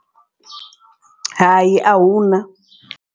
Hai ahuna.